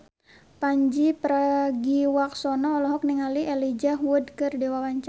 Pandji Pragiwaksono olohok ningali Elijah Wood keur diwawancara